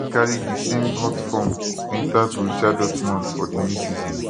and im carry di same hot form enta borussia dortmund for di new season